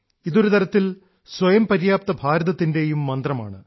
ഇതൊരുതരത്തിൽ സ്വയം പര്യാപ്ത ഭാരതത്തിൻറെയും മന്ത്രം ആണ്